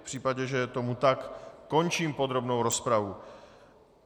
V případě, že je tomu tak, končím podrobnou rozpravu.